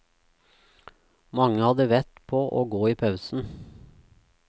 Mange hadde vett på å gå i pausen.